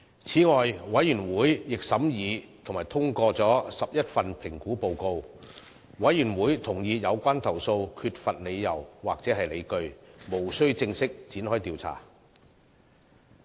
此外，委員會亦審議及通過了11份評估報告，委員會同意有關投訴缺乏理由或理據，無須正式展開調查。